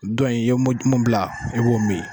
Dɔn in, i ye mo mun bila i b'o mi.